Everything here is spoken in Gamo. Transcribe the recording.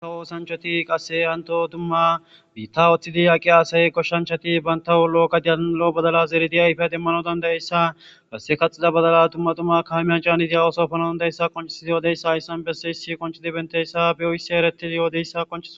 antawhu sancoti qasse hanto dumma biitta oththidi aqi aasay koshshanchati bantahulo7 gadiyanalo badala zeridi ayfe demmano dandayeyssa besse kaxida badala dumma tumma kaamiyan caaniti hawoso fano ndayessa qonchisidi yoodeyssa ayssan besse hissi qoncidi benteyssa beyo hissi ereti yoodeyssa qoncis